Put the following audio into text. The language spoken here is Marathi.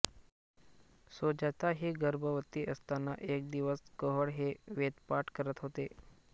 सुजाता ही गर्भवती असताना एक दिवस कहोड हे वेदपाठ करत होते